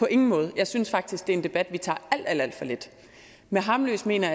på ingen måde jeg synes faktisk at det er en debat vi tager alt alt for let med harmløse mener